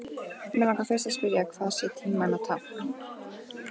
Mig langar fyrst að spyrja, hvað sé tímanna tákn.